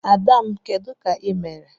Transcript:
Ada m, Kedu ka ị mere?